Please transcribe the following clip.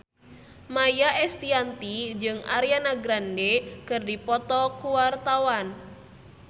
Maia Estianty jeung Ariana Grande keur dipoto ku wartawan